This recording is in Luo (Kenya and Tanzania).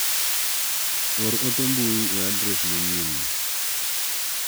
Or ote mbui e adres manyien ni.